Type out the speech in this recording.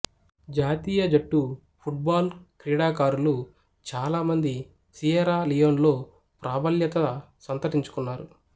జాతీయ జట్టు football క్రీడాకారులు చాలామంది సియెరా లియోన్లో ప్రాబల్యత సంతరించుకున్నారు